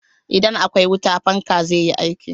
Idan akwai wuta, fanka zai yi aiki.